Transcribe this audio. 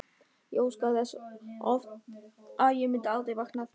Ég óskaði þess oft að ég myndi aldrei vakna aftur.